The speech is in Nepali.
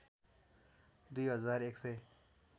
दुई हजार एकसय